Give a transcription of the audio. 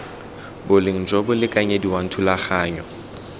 boleng jo bo lekanyediwang thulaganyo